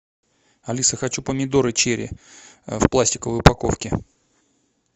алиса хочу помидоры черри в пластиковой упаковке